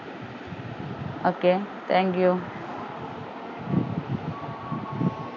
okay thank you